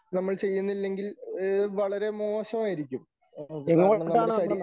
നമ്മൾ ചെയ്യുന്നില്ലെങ്കിൽ ഏ വളരെ മോശമായിരിക്കും. കാരണം നമ്മുടെ ശരീ